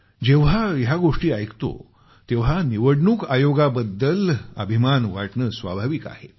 जेव्हा या गोष्टी ऐकतो तेव्हा निवडणूक आयोगाबद्दल अभिमान वाटणं स्वाभाविक आहे